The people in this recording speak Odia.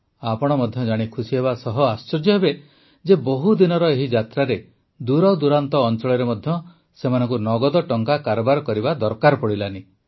ଆପଣ ମଧ୍ୟ ଜାଣି ଖୁସିହେବା ସହ ଆଶ୍ଚର୍ଯ୍ୟ ହେବେ ଯେ ବହୁଦିନର ଏହି ଯାତ୍ରାରେ ଦୂରଦୂରାନ୍ତ ଅଂଚଳରେ ମଧ୍ୟ ସେମାନଙ୍କୁ ନଗଦ ଟଙ୍କା କାରବାର କରିବା ଦରକାର ପଡ଼ିଲା ନାହିଁ